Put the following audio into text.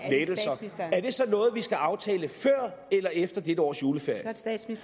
i det så noget vi skal aftale før eller efter dette års juleferie